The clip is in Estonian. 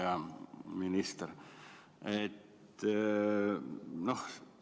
Hea minister!